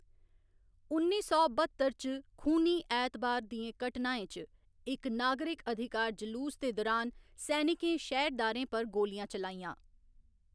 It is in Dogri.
उन्नी सौ बत्तर च खूनी ऐतबार दियें घटनाएं च इक नागरक अधिकार जलूस दे दुरान सैनिकें शैह्‌रदारें पर गोलियां चलाइयां।